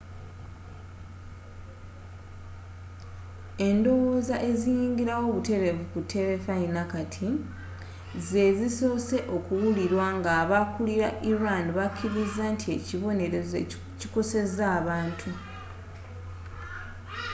endowooza eziyingira wo butereevu ku terefayina kati zeezisoose okuwulirwa ng'aba kulila iran bakiriza nti ekibonerezo kikoseza abantu